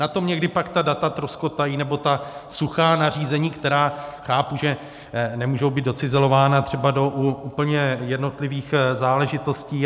Na tom někdy pak ta data troskotají, nebo ta suchá nařízení, která chápu, že nemůžou být docizelována třeba do úplně jednotlivých záležitostí.